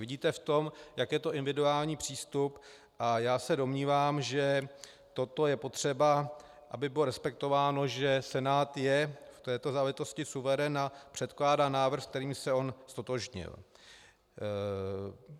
Vidíte v tom, jak je to individuální přístup, a já se domnívám, že toto je potřeba, aby bylo respektováno, že Senát je v této záležitosti suverén a předkládá návrh, se kterým se on ztotožnil.